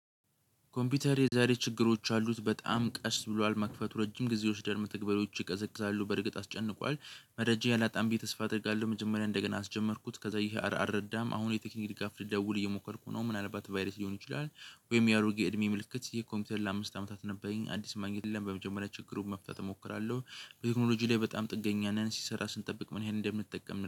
ኮምፒውተሬ የዛሬ ችግሮች አሉት በጣም ቀስ ብሏል መክፈቱ ረጅም ጊዜዎች ይወስዳል መተግበሪያዎች ይቀዘቅዛሉ በርግጥ አስጨንቋል መረጃ አላጣም ብዬ ተስፋ አደርጋለሁ። መጀመሪያ እንደገና አስጀመርኩት። ከዛ ይሄ አር አረዳም አሁን የቴክኒክ ድጋፍ ደውል እየሞከርኩ ነው። ምን አለባት ቫይረስ ሊሆን ይችላል? ወይም የአውጌ እድሜ ምልክት የኮምፒውተር ለአምስት አመታት ነበረኝ አዲስ ማግኘት የለም። በመጀመሪያ ችግሩን መፍታት እሞክራለሁ። በቴክኖሎጂ ላይ በጣም ጥገኛ ነን ሲሰራ ስንጠብቅ ምን ይሄን እንደምትጠቀም